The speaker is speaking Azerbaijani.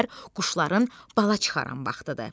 Deyirlər quşların bala çıxaran vaxtıdır.